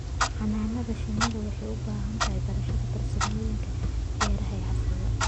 Xannaanada shinnidu waxay u baahan tahay barashada farsamooyinka beeraha ee casriga ah.